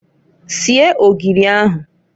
Sie ogiri ahụǃ